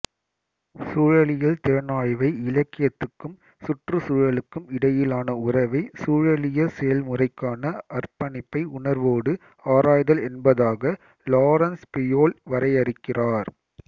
சூழலியல் திறனாய்வை இலக்கியத்துக்கும் சுற்றுச்சூழலுக்கும் இடையிலான உறவை சூழலிய செயல்முறைக்கான அர்ப்பணிப்பு உணர்வோடு ஆராய்தல் என்பதாக லாரன்ஸ் பியோல் வரையறுக்கிறார்